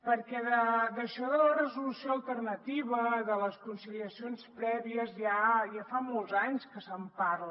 perquè d’això de la resolució alternativa de les conciliacions prèvies ja fa molts anys que se’n parla